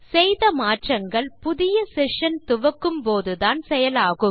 செய்த மாற்றங்கள் புதிய செஷன் துவக்கும்போதுதான் செயலாகும்